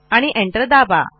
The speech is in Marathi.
आणि एंटर दाबा